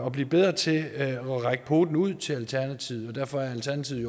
at blive bedre til at række poten ud til alternativet og derfor er alternativet